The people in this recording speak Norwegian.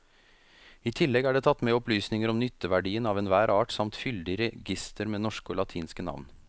I tillegg er det tatt med opplysninger om nytteverdien av enhver art samt fyldig reigister med norske og latinske navn.